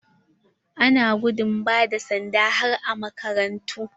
Ana gudun ba da sanda har a makarantu.